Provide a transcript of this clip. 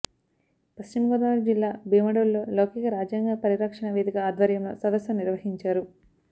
పశ్చిమగోదావరి జిల్లా భీమడోలులో లౌకిక రాజ్యాంగ పరిరక్షణ వేదిక ఆధ్వర్యంలో సదస్సు నిర్వహించారు